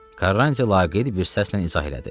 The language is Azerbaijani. Karranti laqeyd bir səslə izah elədi.